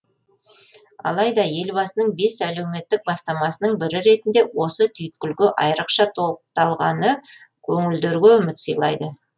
алайда елбасының бес әлеуметтік бастамасының бірі ретінде осы түйткілге айырықша толықталғаны көңілдерге үміт сыйлайды